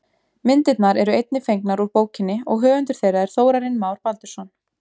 Myndirnar eru einnig fengnar úr bókinni og höfundur þeirra er Þórarinn Már Baldursson.